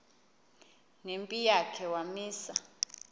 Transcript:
nempi yakhe wamisa